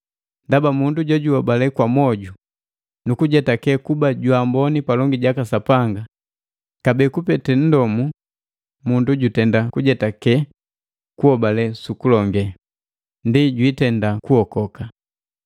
Ndaba mundu juhobale kwa mwoju nuku jetakewa kuba jwaamboni palongi jaka Sapanga, kabee kupete nndomu mundu jutenda kujetake kuhobale sukulonge, ndi jwiitenda kuokoka.